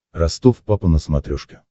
ростов папа на смотрешке